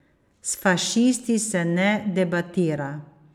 S fašisti se ne debatira.